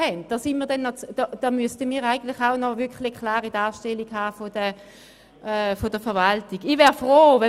Es ist mehrmals gesagt worden, der Antrag sollte in die Kommission zurückgegeben werden.